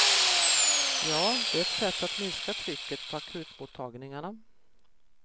Ja, det är ett sätt att minska trycket på akutmottagningarna.